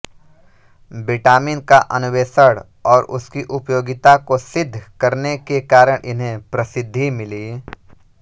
vitamin का अन्वेषण और उसकी उपयोगिता को सिद्ध करने के कारण इन्हें प्रसिद्धि मिली